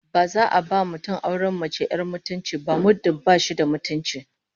Ba za a ba mutum auren mace 'yar mutunci ba muddin ba shi da mutunci